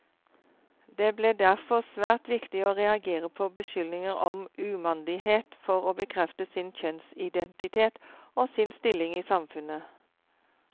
Det ble derfor svært viktig å reagere på beskyldninger om umandighet for å bekrefte sin kjønnsidentitet, og sin stilling i samfunnet.